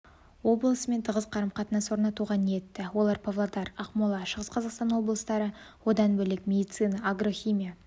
облысымен тығыз қарым-қатынас орнатуға ниетті олар павлодар ақмола шығыс қазақстан облыстары одан бөлек медицина агрохимия